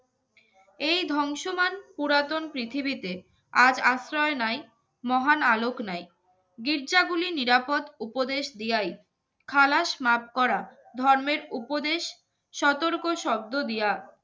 এই ধ্বংসমান পুরাতন পৃথিবীতে আজ আশ্রয় নেয় মহান আলোক নাই। গির্জাগুলি নিরাপদ উপদেশ দেয়। খালাস মাফ করা ধর্মের উপদেশ সতর্ক শব্দদিয়া